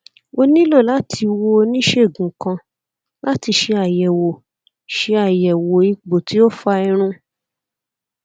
o nilo lati wo onisegun kan lati ṣe ayẹwo ṣe ayẹwo ipo ti o fa irun